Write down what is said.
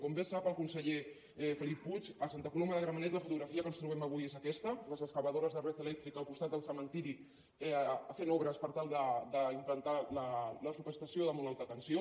com bé sap el conseller felip puig a santa coloma de gramenet la fotografia que ens trobem avui és aquesta les excavadores de red eléctrica al costat del cementiri fent obres per tal d’implantar la subestació de molt alta tensió